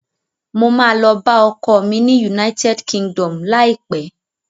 Mo ma lọ bá ọkọ mi ni United Kingdom láìpẹ́